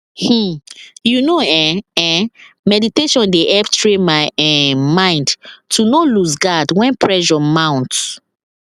um you know [um][um]meditation dey help train my um mind to no lose guard when pressure mount